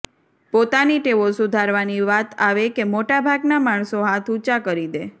પોતાની ટેવો સુધારવાની વાત આવે કે મોટા ભાગના માણસો હાથ ઊંચા કરી દે